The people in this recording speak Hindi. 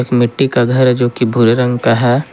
मिट्टी का घर है जो कि भूरे रंग का है।